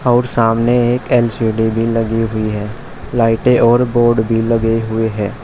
और सामने एक एल_सी_डी लगी हुई है लाइटें और बोर्ड भी लगे हुई है।